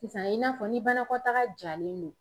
Sisan i n'a fɔ ni banakɔtaga jalen no